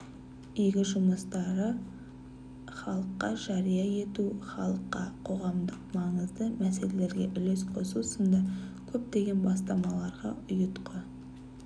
игі жұмыстарды іалыққа жария ету іалыққа қоғамдық маңызды мәселелерге үлес қосу сынды көптеген бастамаларға ұйытқы